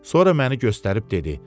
Sonra məni göstərib dedi: